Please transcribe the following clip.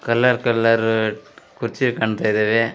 Colour colour ಕುರ್ಚಿ ಕಾಣ್ತಾ ಇದಾವೆ.